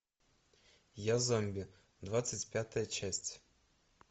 я зомби двадцать пятая часть